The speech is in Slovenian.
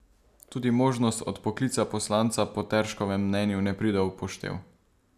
Tudi možnost odpoklica poslanca po Terškovem mnenju ne pride v poštev.